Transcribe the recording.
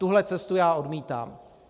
Tuhle cestu já odmítám.